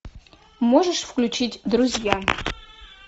можешь включить друзья